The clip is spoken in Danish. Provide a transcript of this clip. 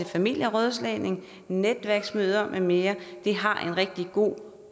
familierådslagning netværksmøder med mere de har en rigtig god